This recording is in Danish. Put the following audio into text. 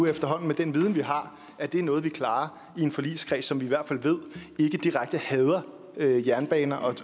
efterhånden med den viden vi har at det er noget vi klarer i en forligskreds som vi i hvert fald ved ikke direkte hader jernbaner